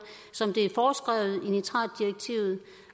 som det er foreskrevet i nitratdirektivet